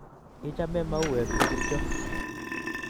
Ichame mauek ngircho?